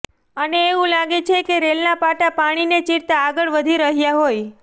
અને એવું લાગે છે કે રેલના પાટા પાણીને ચીરતા આગળ વધી રહ્યા હોય